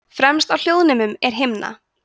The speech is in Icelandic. fremst á hljóðnemum er himna